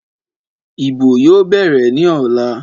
Ìbò yóò bẹ̀rẹ̀ ní ọ̀la.